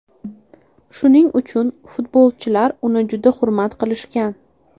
Shuning uchun, futbolchilar uni juda hurmat qilishgan.